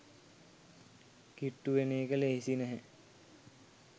කිට්ටු වෙන එක ලෙහෙසි නැහැ